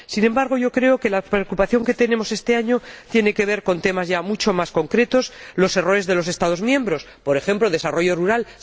Sin embargo, yo creo que nuestra preocupación este año tiene que ver con temas ya mucho más concretos los errores de los Estados miembros por ejemplo, el desarrollo rural.